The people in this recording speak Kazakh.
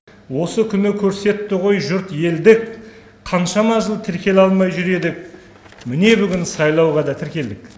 осы күні көрсетті ғой жұрт елдік қаншама жыл тіркеле алмай жүр едік міне бүгін сайлауға да тіркелдік